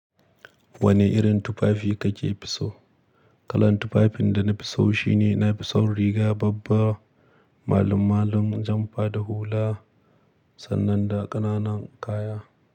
Wane irin tufafi kake fi so? Kalan tufafin da na fi so shine na fi son riga babba, malam-malan, jamfa da hula sannan da ƙananan kaya.